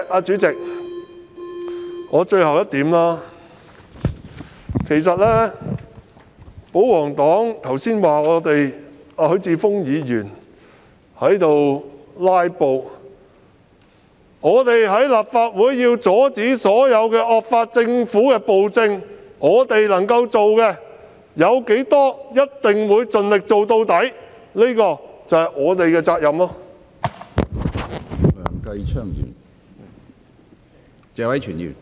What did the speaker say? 主席，最後一點是，保皇黨剛才指許智峯議員"拉布"，但為了在立法會阻止所有惡法通過及政府施行暴政，能夠做到多少，我們便必會盡力而為，這正是我們的責任。